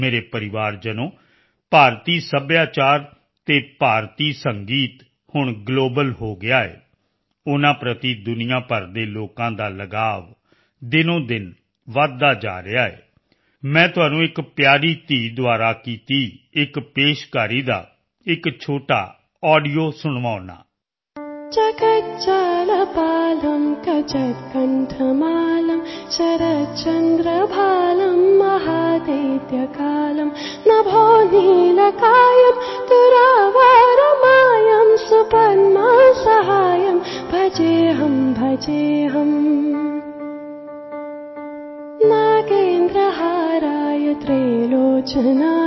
ਮੇਰੇ ਪਰਿਵਾਰਜਨੋ ਭਾਰਤੀ ਸੱਭਿਆਚਾਰ ਅਤੇ ਭਾਰਤੀ ਸੰਗੀਤ ਹੁਣ ਗਲੋਬਲ ਹੋ ਗਿਆ ਹੈ ਉਨ੍ਹਾਂ ਪ੍ਰਤੀ ਦੁਨੀਆ ਭਰ ਦੇ ਲੋਕਾਂ ਦਾ ਲਗਾਵ ਦਿਨੋਂਦਿਨ ਵਧਦਾ ਜਾ ਰਿਹਾ ਹੈ ਚਲੋ ਮੈਂ ਤੁਹਾਨੂੰ ਇੱਕ ਪਿਆਰੀ ਧੀ ਦੁਆਰਾ ਕੀਤੀ ਇੱਕ ਪੇਸ਼ਕਾਰੀ ਦਾ ਇੱਕ ਛੋਟਾ ਆਡੀਓ ਤੁਹਾਨੂੰ ਸੁਣਾਉਂਦਾ ਹਾਂ